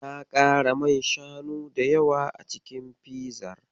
Na ƙara man shanu da yawa a cikin fizar.